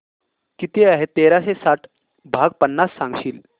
किती आहे तेराशे साठ भाग पन्नास सांगशील